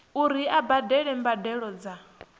uri a badele mbadelo dza